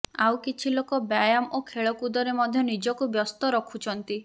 ଆଉ କିଛି ଲୋକ ବ୍ୟାୟାମ ଓ ଖେଳକୁଦରେ ମଧ୍ୟ ନିଜକୁ ବ୍ୟସ୍ତ ରଖୁଛନ୍ତି